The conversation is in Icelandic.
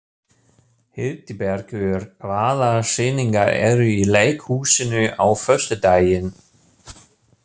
Hildibergur, hvaða sýningar eru í leikhúsinu á föstudaginn?